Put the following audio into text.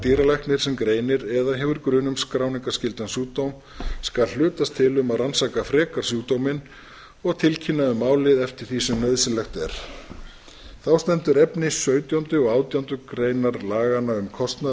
dýralæknir sem greinir eða hefur grun um skráningarskyldan sjúkdóm skal hlutast til um að rannsaka frekar sjúkdóminn og tilkynna um málið eftir því sem nauðsynlegt er þá stendur efni sautjándu og átjándu greinar laganna um kostnað